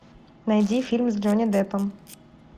найди фильм с джонни деппом